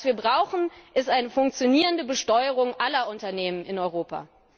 Was wir brauchen, ist eine funktionierende Besteuerung aller Unternehmen in Europa.